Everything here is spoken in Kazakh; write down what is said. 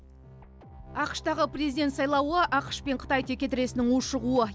ақш тағы президент сайлауы ақш пен қытай текетіресінің ушығуы